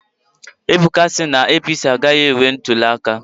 Ebuka sị na APC agaghị emeri ntuliaka